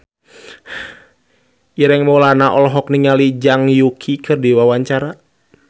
Ireng Maulana olohok ningali Zhang Yuqi keur diwawancara